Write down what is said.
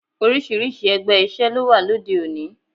Oríṣiríṣi ẹgbẹ́ isoe ló wà lóde òní